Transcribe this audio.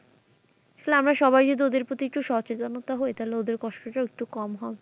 তাহলে আমরা সবাই যদি ওদের প্রতি একটু সচেতনতা হয় তাহলে ওদের কষ্টটা ও একটু কম হোক।